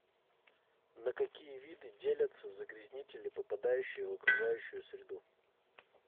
на какие виды делятся загрязнители попадающие в окружающую среду